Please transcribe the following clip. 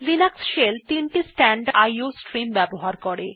Linux shell তিনটি standard iও stream ব্যবহার করে